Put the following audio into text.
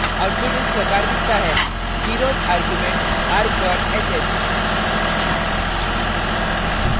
output इस प्रकार दिखता है: zeroth argument argsh है